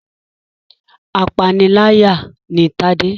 Apániláyà ni Tade.